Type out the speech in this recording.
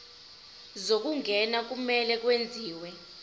zokungena kumele kwenziwe